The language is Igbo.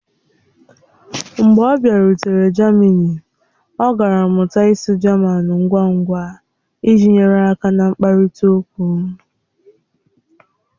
Mgbe ọ bịarutere jamini, ọ gara mụta ịsụ jaman ngwa ngwa iji nyere aka na nkparịta okwu.